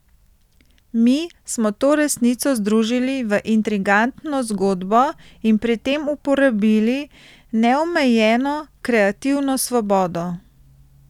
Mi smo to resnico združili v intrigantno zgodbo in pri tem uporabili neomejeno kreativno svobodo.